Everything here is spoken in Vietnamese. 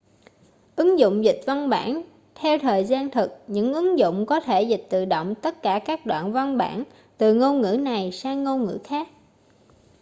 ứng dụng dịch văn bản theo thời gian thực những ứng dụng có thể dịch tự động tất cả các đoạn văn bản từ ngôn ngữ này sang ngôn ngữ khác